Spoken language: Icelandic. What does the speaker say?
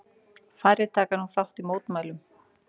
Færri taka nú þátt í mótmælum